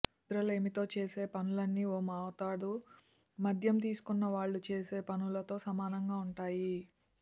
నిద్రలేమితో చేసే పనులన్నీ ఓ మోతాదు మద్యం తీసుకున్న వాళ్లు చేసే పనులతో సమానంగా ఉంటాయి